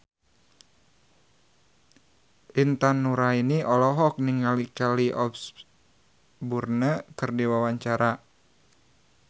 Intan Nuraini olohok ningali Kelly Osbourne keur diwawancara